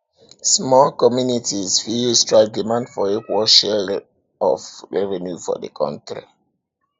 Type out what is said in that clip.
small communities fit use strike demand for equal sharing of revenue for di counrty